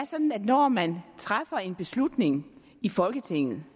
sådan at når man træffer en beslutning i folketinget